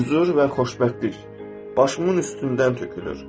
Hüzur və xoşbəxtlik başımın üstündən tökülür.